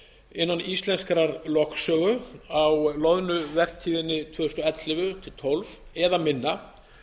innan íslenskrar lögsögu á loðnuvertíðinni tvö þúsund og ellefu tvö þúsund og tólf eða minna